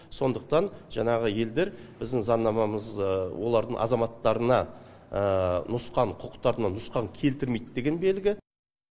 сондықтан жаңағы елдер біздің заңнамамыз олардың азаматтарына нұсқан құқықтарына нұсқан келтірмейді деген белгі